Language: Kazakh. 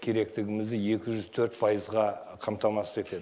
керектігімізді екі жүз төрт пайызға қамтамасыз етеді